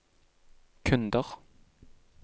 kunder